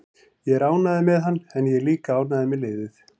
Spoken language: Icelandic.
Ég er ánægður með hann en ég er líka ánægður með liðið.